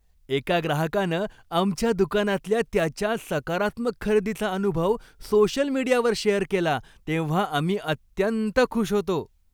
एका ग्राहकानं आमच्या दुकानातल्या त्याच्या सकारात्मक खरेदीचा अनुभव सोशल मीडियावर शेअर केला तेव्हा आम्ही अत्यंत खुश होतो.